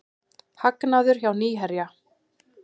Hagnaður hjá Nýherja